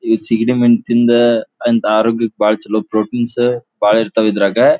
ಈ ಸಿಗಡಿ ಮೀನು ತಿಂದ ಆರೋಗ್ಯಕ್ಕೆ ಬಾಳ್ ಚಲೋ ಪ್ರೊಟೀನ್ ಬಾಳ ಇರ್ತವೆ ಇದರಾಗೆ.